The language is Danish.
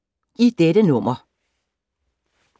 I dette nummer